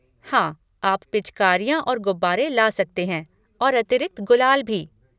हाँ, आप पिचकारियाँ और गुब्बारे ला सकते हैं और अतिरिक्त गुलाल भी।